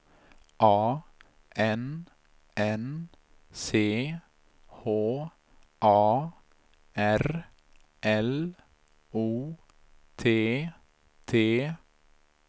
A N N C H A R L O T T